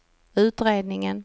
utredningen